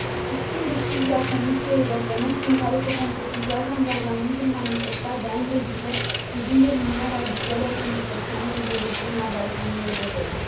Susțin decizia Comisiei Europene, prin care se concretizează angajamentul manifestat de ani de zile privind eliminarea vizelor pentru persoanele din regiunea Balcanilor de Vest.